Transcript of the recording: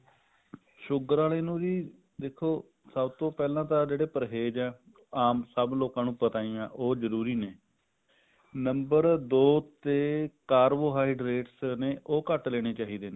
sugar ਆਲੇ ਨੂੰ ਜੀ ਦਖੋ ਸਭ ਤੋਂ ਪਹਿਲਾਂ ਜਿਹੜੇ ਪਰਹੇਜ ਆ ਆਮ ਸਭ ਲੋਕਾਂ ਨੂੰ ਪਤ ਹੀ ਹੈ ਉਹ ਜਰੂਰੀ ਨੇ number ਦੋ ਤੇ carbohydrate ਉਹ ਘੱਟ ਲੈਣੇ ਚਾਹੀਦੇ ਨੇ